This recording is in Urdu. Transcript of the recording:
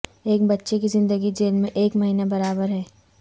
ایک بچے کی زندگی جیل میں ایک مہینہ برابر ہے